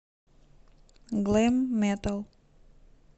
глэм метал